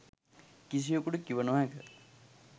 කිසිවෙකුට කිව නොහැක